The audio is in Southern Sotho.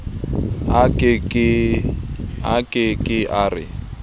a ke ke a re